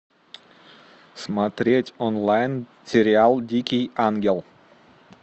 смотреть онлайн сериал дикий ангел